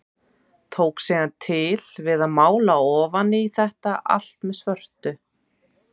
Tók síðan til við að mála ofan í þetta allt með svörtu.